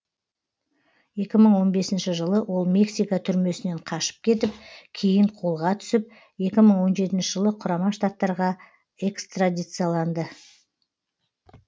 екі мың он бесінші жылы ол мексика түрмесінен қашып кетіп кейін қолға түсіп екі мың оныншы жылы құрама штаттарға экстрадицияланды